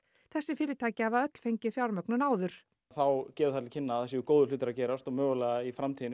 þessi fyrirtæki hafa öll fengið fjármögnun áður þá gefur það til kynna að það séu góðir hlutir að gerast og mögulega í framtíðinni